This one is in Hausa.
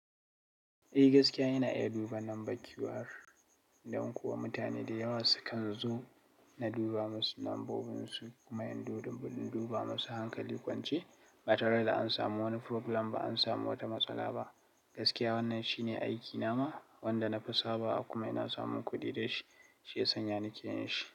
Eh gaskiya ina iya duba nambar QR, don kuwa mutane dayawa sukan zo na duba musu nambobinsu kuma in duba musu hankali kwance ba tare da an samu wani problem ba, an samu wata matsala ba. Gaskiya wannan shine aikina ma wanda na fi saba akwai ina samun kuɗi da shi shi ya sanya na keyin shi.